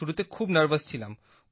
শুরুতে খুব নার্ভাস ছিলাম